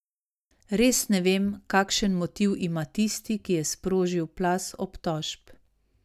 Res ne vem, kakšen motiv ima tisti, ki je sprožil plaz obtožb.